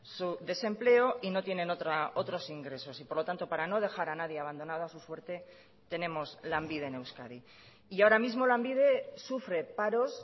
su desempleo y no tienen otros ingresos y por lo tanto para no dejar a nadie abandonado a su suerte tenemos lanbide en euskadi y ahora mismo lanbide sufre paros